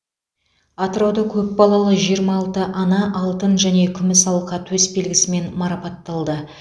атырауда көп балалы жиырма алты ана алтын және күміс алқа төсбелгісімен марапатталды